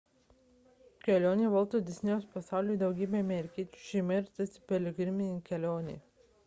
kelionė į volto disnėjaus pasaulį daugybei amerikiečių šeimų yra tarsi piligriminė kelionė